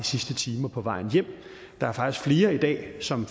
sidste timer på vejen hjem der er faktisk flere i dag som